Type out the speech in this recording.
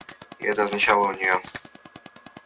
и это означало у неё